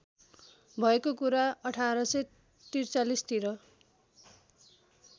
भएको कुरा १८४३ तिर